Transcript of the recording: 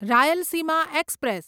Rayalaseema express